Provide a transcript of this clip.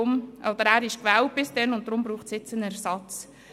Er war bis dahin gewählt, und daher braucht es jetzt einen Ersatz.